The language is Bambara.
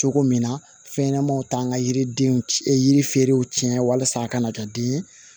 Cogo min na fɛn ɲɛnamaw t'an ka yiridenw yiriferew tiɲɛ walasa a kana kɛ den ye